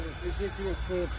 Sağ olun, təşəkkürlər.